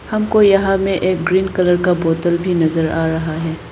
हमको यहां में एक ग्रीन कलर का बोतल भी नजर आ रहा है।